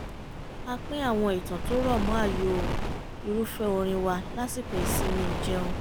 a pín àwọn ìtàn tó rọ̀ mọ́ ààyò irúfẹ́ orin wa lásìkò ìsinmi ìjẹun